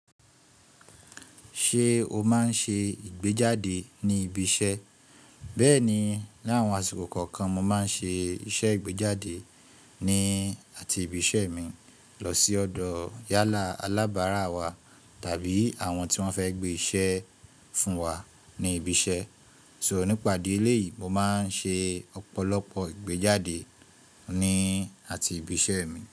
Ṣé o máa ń ṣe ìgbéjáde ní ibi iṣẹ́? Bẹ́ẹ̀ni, ní àwọn àsìkò kọ̀ọ̀kan mo máa ń ṣe iṣẹ́ ìgbéjáde ní àti ibi iṣẹ́ mi. Lọ sí ọ̀dọ̀ yálà alábárá wa tàbí àwọn tí wọ́n fẹ́ gbé iṣẹ́ fún wa ní ibi iṣẹ́. So nípa idí ẹ̀léyìí mo máa ń ṣe ọ̀pọ̀lọpọ̀ ìgbéjáde ni àti ibi iṣẹ́ mi.